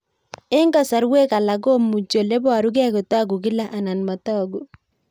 Eng'kasarwek alak komuchi ole parukei kotag'u kila anan matag'u